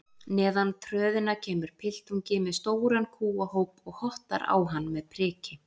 Neðan tröðina kemur piltungi með stóran kúahóp og hottar á hann með priki.